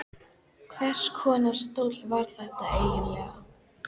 Hvers konar stóll var þetta eiginlega?